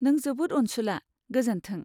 नों जोबोद अनसुला, गोजोन्थों।